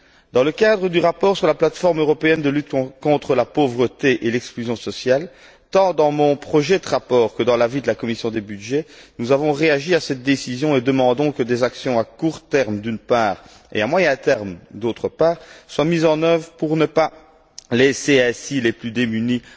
Dans le cadre du rapport sur la plate forme européenne de lutte contre la pauvreté et l'exclusion sociale, tant dans mon projet de rapport que dans l'avis de la commission des budgets, nous avons réagi à cette décision en demandant que des actions à court terme, d'une part, et à moyen terme, d'autre part, soient mises en œuvre pour ne pas abandonner, ainsi, les plus démunis.